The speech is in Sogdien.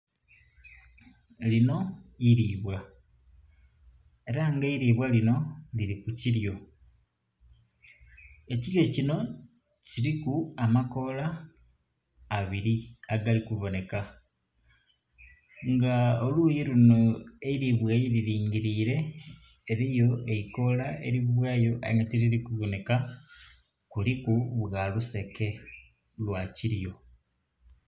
Linho iribwa era nga eribwa linho lili ku kilyo, ekilyo kinho kiliku amakoola abiri agali ku bonheka nga oluyi lunho eilibwa ye lingilile eriyo eikoola erivayo aye nga ti lili ku bonheka kuliku bwa luseke lwa kilyo.